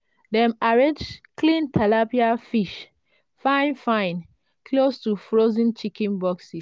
dem arrange clean tilapia fish fine-fine close to frozen chicken boxes.